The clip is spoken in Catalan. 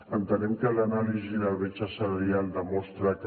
entenem que l’anàlisi de la bretxa salarial demostra que